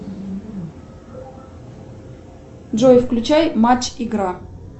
джой включай матч игра